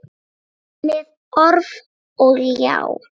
Með orf og ljá.